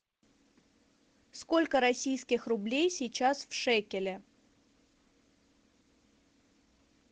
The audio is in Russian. сколько российских рублей сейчас в шекелях